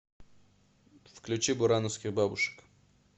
включи бурановских бабушек